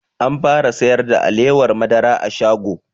An fara sayar da alewar madara a shago